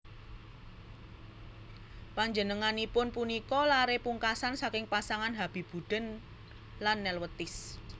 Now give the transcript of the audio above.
Panjenenganipun punika laré pungkasan saking pasangan Habibuddin lan Nelwetis